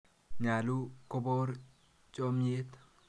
Nyalu kopor chamyet.